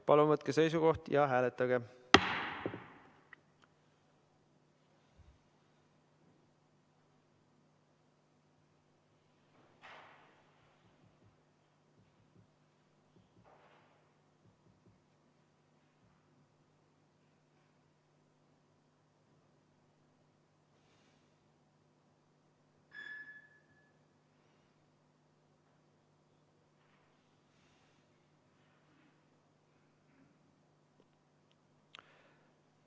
Palun võtke seisukoht ja hääletage!